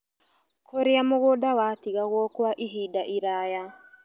Kũrĩa mũgũnda watigagwo Kwa ihinda iraya